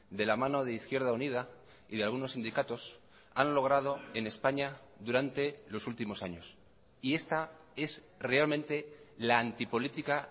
de la mano de izquierda unida y de algunos sindicatos han logrado en españa durante los últimos años y esta es realmente la antipolítica